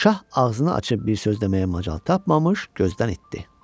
Şah ağzını açıb bir söz deməyə macal tapmamış gözdən itdi.